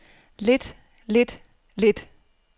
lidt lidt lidt